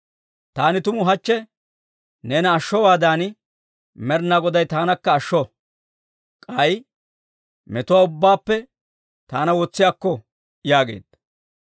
Taani tumu hachche neena ashshowaadan Med'inaa Goday taanakka ashsho; k'ay metuwaa ubbaappe taana wotsi akko» yaageedda.